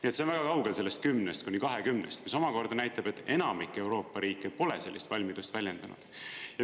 See on väga kaugel sellest 10-st kuni 20-st, mis omakorda näitab, et enamik Euroopa riike pole sellist valmidust väljendanud.